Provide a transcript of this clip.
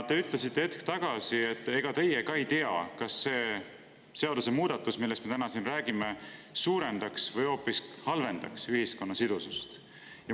Te ütlesite hetk tagasi, et ega teie ka ei tea, kas see seadusemuudatus, millest me täna siin räägime, suurendaks või hoopis halvendaks ühiskonna sidusust.